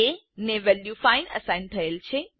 એ ને value 5 assign થયેલ છે